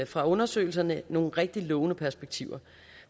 fra undersøgelserne nogle rigtig lovende perspektiver